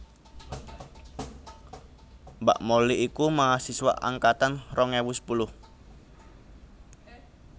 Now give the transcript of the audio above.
Mbak Molly iku mahasiswa angkatan rong ewu sepuluh